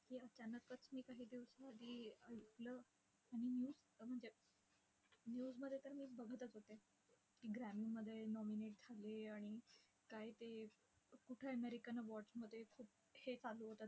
अचानकच मी काही दिवसांसाठी ऐकलं. आणि news म्हणजे, news मध्ये तर मी बघतच होते की, ग्रॅमीमध्ये nominate झाले. आणि काय ते, कुठे American awards मध्ये हे चालू होतं.